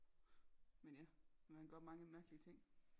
Men ja man gør mange mærkelige ting